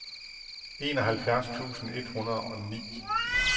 enoghalvfjerds tusind et hundrede og ni